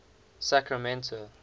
sacramento